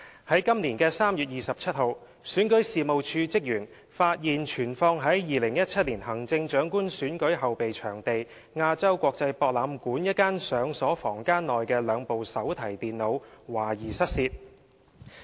在今年3月27日，選舉事務處職員發現存放在2017年行政長官選舉後備場地亞洲國際博覽館一間上鎖房間內的兩部手提電腦懷疑失竊。